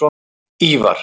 Ívar